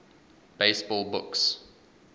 baseball books